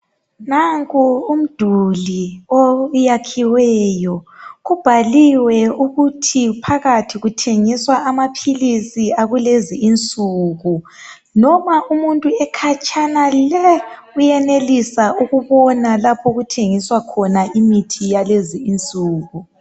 Nanko umduli oyakhiweyo kubhaliwe phansi ukuthi phakathi kuthengiswa amaphilizi akwalezinsuku ukuba umuntu ekhatshana le uyenelisa ukubona lapho okuthengiswa khona imithi yakulezi insuku